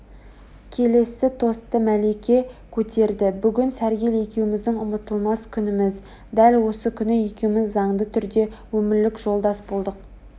келесі тосты мәлике көтерді бүгін сәргел екеуміздің ұмытылмас күніміз дәл осы күні екеуміз заңды түрде өмірлік жолдас болдық